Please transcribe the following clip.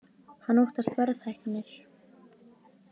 Hann óttast verðhækkanir